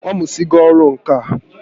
Ọ mụsigo ọrụ ǹkà